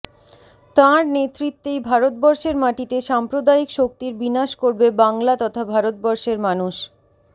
তাঁর নেতৃত্বেই ভারতবর্ষের মাটিতে সাম্প্রদায়িক শক্তির বিনাশ করবে বাংলা তথা ভারতবর্ষের মানুষ